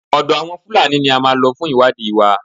Ọ̀dọ àwọn Fúlàní ní a máa lọ fún ìwádìí wa.